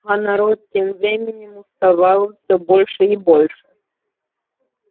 а народ тем временем уставал все больше и больше